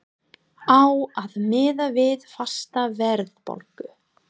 Á að miða við fasta verðbólgu?